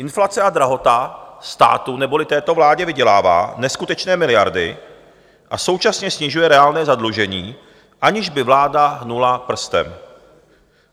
Inflace a drahota státu, neboli této vládě, vydělává neskutečné miliardy a současně snižuje reálné zadlužení, aniž by vláda hnula prstem.